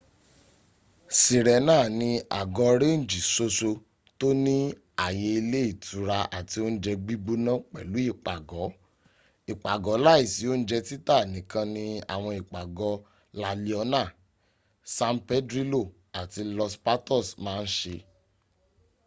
sirena ni àgọ rénjì ṣoṣo tó ní àye ilé ìtura àti ounje gbígbóná pẹ̀lú ipago ipago láìsí ounje títà nìkan ni àwọn ìpàgọ́ la liona san pedrilo ati los patos ma n ṣe